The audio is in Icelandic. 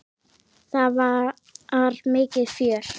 Það var mikið fjör.